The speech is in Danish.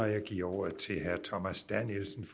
jeg giver ordet til herre thomas danielsen